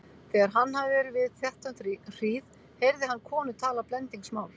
Þegar hann hafði verið við þetta um hríð heyrði hann konu tala blendingsmál.